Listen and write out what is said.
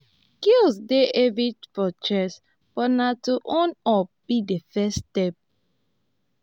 guilt dey heavy for chest but na to own up be the first step.